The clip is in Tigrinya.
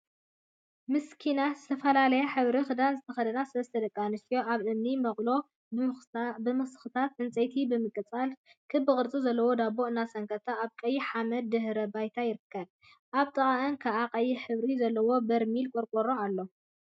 ሚስክናት! ዝተፈላለይ ሕብሪ ክዳን ዝተከደና ሰለስተ ደቂ ኣንስትዮ ኣብ እምኒ መቅሎ ብምስክታት ዕንጽይቲ ብምቅጻልን ክቢ ቅርጺ ዘለዎ ዳቦ እናሰንከታ ኣብ ቀይሕ ሓመድ ድሕረ ባይታ ይርከባ። ኣብ ጥቅኣን ከዓ ቀይሕ ሕብሪ ዘለዎ በርሚልን ቆርቆሮን ኣለው።